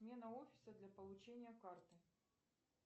смена офиса для получения карты